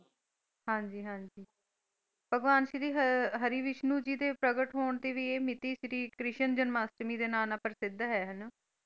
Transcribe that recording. ਹਾਂਜੀ ਹਾਂਜੀ ਭਗਵਾਨ ਸ਼੍ਰੀ ਹਰਿ ਵਿਸ਼ਨੂੰ ਜੀ ਦੇ ਪ੍ਰਗਟ ਹੋਣ ਤੇ ਵੀ ਇਹ ਮਿਤੀ ਸ਼੍ਰੀ ਕ੍ਰਿਸ਼ਨ ਜਨਾਮਾਸ਼ਟਾਮੀ ਦੇ ਨਾਂ ਨਾਲ ਪ੍ਰਸਿੱਧ ਹੈ ਹਨਾ?